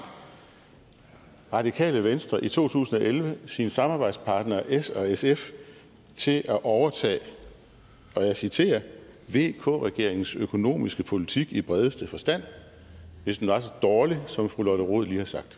radikale venstre i to tusind og elleve sine samarbejdspartnere s og sf til at overtage og jeg citerer vk regeringens økonomiske politik i bredeste forstand hvis den var så dårlig som fru lotte rod